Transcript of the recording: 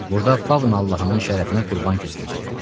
Burda Faun Allahının şərəfinə qurban kəsiləcəkdi.